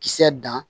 Kisɛ dan